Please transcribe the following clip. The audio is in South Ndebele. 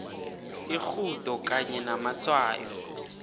irhudo kanye namatshwayo